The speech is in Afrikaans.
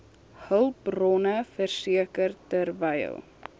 hulpbronne verseker terwyl